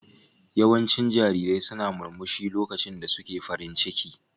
Yawancin jarirai suna murmushi lokacin da suke farin ciki.